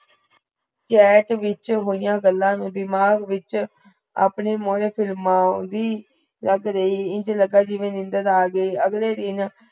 chat ਵਿਚ ਹੋਯਾ ਗੱਲਾਂ ਨੁ ਦਿਮਾਗ ਵਿਚ ਅਪਨੇ ਲਗ ਰਹੀ ਇਂਜ ਲਗਾ ਜਿਵੇ ਨੀਂਦਰ ਆ ਗਈ ਅਗਲੇ ਦਿਨ